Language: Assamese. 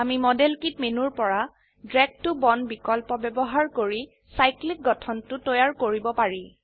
আমি মডেল কিট মেনুৰ পৰা ড্ৰাগ ত বন্দ বিকল্প ব্যবহাৰ কৰি চাইক্লিক সাইক্লিক গঠনটো তৈয়াৰ কৰিব পাৰি